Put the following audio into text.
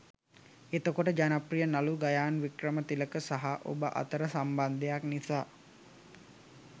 එතකොට ජනප්‍රිය නළු ගයාන් වික්‍රමතිලක සහ ඔබ අතර සම්බන්ධයක් නිසා